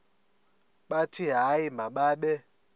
bathi hayi mababe